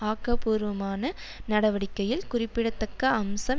ஆக்கபூர்வமான நடவடிக்கையில் குறிப்பிடத்தக்க அம்சம்